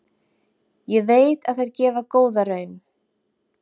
Ég veit að þær gefa góða raun.